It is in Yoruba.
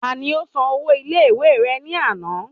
Tani ó san ọwọ́ ilé ìwé rẹ ní àná?